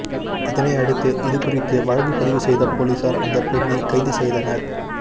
இதனை அடுத்து இது குறித்து வழக்குப்பதிவு செய்த போலீசார் அந்த பெண்ணை கைது செய்தனர்